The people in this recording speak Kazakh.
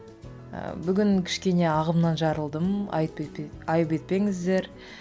ыыы бүгін кішкене ағымнан жарылдым айып етпеңіздер